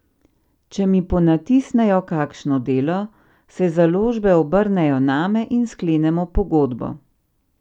Če mi ponatisnejo kakšno delo, se založbe obrnejo name in sklenemo pogodbo.